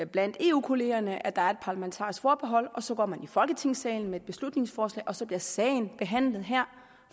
blandt eu kollegerne at der er et parlamentarisk forbehold og så går man i folketingssalen med et beslutningsforslag og så bliver sagen behandlet her